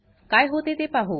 काय होते ते पाहू